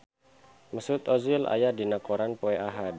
Mesut Ozil aya dina koran poe Ahad